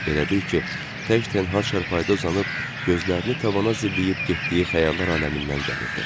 Elə bil ki, tək tənha çarpayıda uzanıb, gözlərini tavana zilləyib getdiyi xəyallar aləmindən gəlirdi.